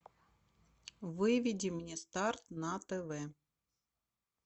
выведи мне старт на тв